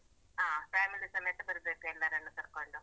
ಹಾ family ಸಮೇತ ಬರ್ಬೇಕು ಎಲ್ಲರನ್ನು ಕರ್ಕೋಂಡು.